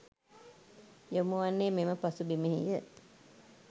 යොමු වන්නේ මෙම පසු බිමෙහි ය